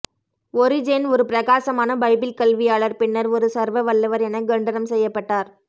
Origen ஒரு பிரகாசமான Bible கல்வியாளர் பின்னர் ஒரு சர்வவல்லவர் என கண்டனம் செய்யப்பட்டார்